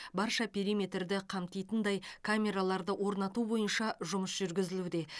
барша периметрді қамтитындай камераларды орнату бойынша жұмыс жүргізілуде